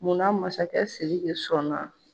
Munna masakɛ Sidiki sɔnna ?